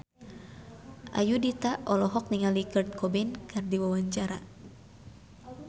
Ayudhita olohok ningali Kurt Cobain keur diwawancara